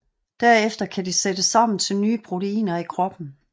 Derefter kan de sættes sammen til nye proteiner i kroppen